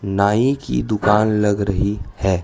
नाई की दुकान लग रही है।